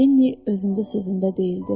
Lenni özündə sözündə deyildi.